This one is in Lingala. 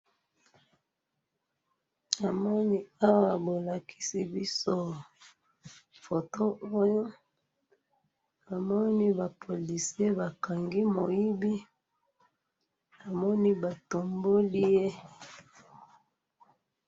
namoni awa bolakisi biso photo oyo na moni ba policie ba kangi moibi na moni ba tomboli ye